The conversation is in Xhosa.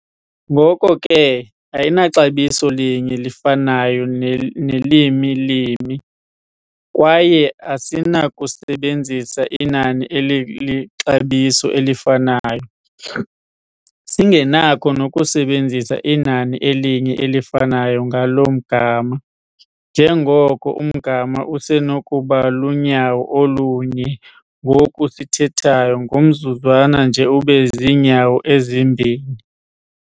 Ngoko ke ayinaxabiso linye lifanayo nelimi limi, kwaye asinakusebenzisa inani elilixabiso elifanayo, singenakho nokusebenzisa inani elinye elifanayo ngalo mgama, njengoko umgama usenokuba lunyawo olu-1 ngoku sithethayo, ngomzuzwana nje ube ziinyawo ezi-2.